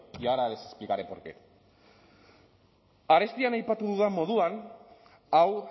y ahora les explicaré por qué arestian aipatu dudan moduan hau